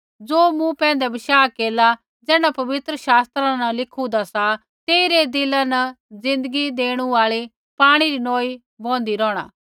ज़ो मूँ पैंधै बशाह केरला ज़ैण्ढा पवित्र शास्त्रा न लिखुंदा सा तेई रै दिला न ज़िन्दगी देणु आल़ी पाणी री नोई बौहन्दी रौहणा